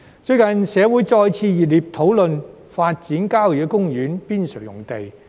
最近，社會再次熱烈討論發展郊野公園邊陲用地。